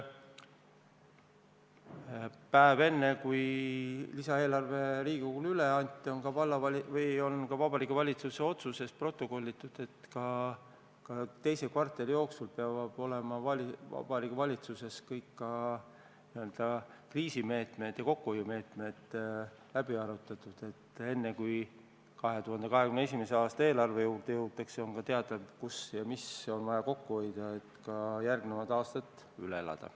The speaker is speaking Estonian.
Päev enne, kui lisaeelarve Riigikogule üle anti, sai Vabariigi Valitsuse otsuses protokollitud, et teise kvartali jooksul peavad Vabariigi Valitsuses olema kõik kriisimeetmed ja kokkuhoiumeetmed läbi arutatud, et enne 2021. aasta eelarve juurde jõudmist oleks teada, kus ja mida on vaja kokku hoida, et järgnevad aastad üle elada.